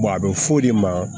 a bɛ f'o de ma